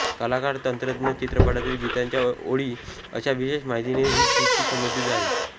कलाकार तंत्रज्ञ चित्रपटातील गीतांच्या ओळी अशा विशेष माहितीने ही सूची सजली आहे